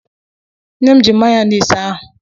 Nne m ji mayọnis ahụ.